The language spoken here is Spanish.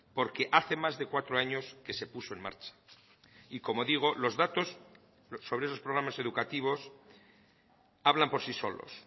porque hace más de cuatro años que se puso en marcha y como digo los datos sobre esos programas educativos hablan por sí solos